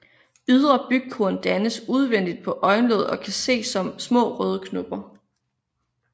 Ydre bygkorn dannes udvendigt på øjenlåget og kan ses som små røde knopper